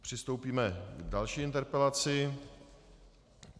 Přistoupíme k další interpelaci.